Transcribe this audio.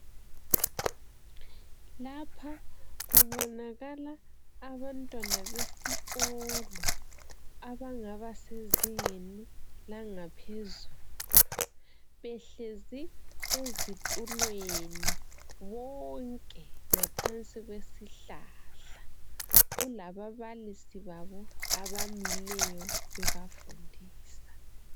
Lapha kubonakala abantwana besikolo abangaba sezingeni langaphezulu behlezi ezitulweni bonke ngaphansi kwesihlahla. Kulababalisi babo abamileyo bebafundisa.